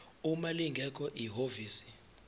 uma lingekho ihhovisi